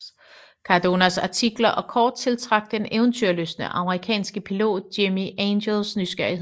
Cardonas artikler og kort tiltrak den eventyrlystne amerikanske pilot Jimmie Angels nysgerrighed